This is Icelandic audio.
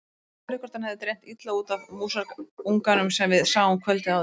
Ég spurði hvort hann hefði dreymt illa út af músarunganum sem við sáum kvöldið áður.